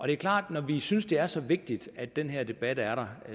det er klart at når vi synes det er så vigtigt at den her debat er der